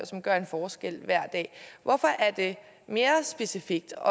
som gør en forskel hver dag hvorfor er det mere specifikt og